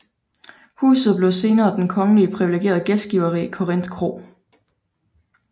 Huset blev senere den kongelig privilegerede gæstgiveri Korinth Kro